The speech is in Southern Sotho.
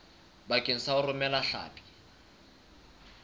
bakeng sa ho romela hlapi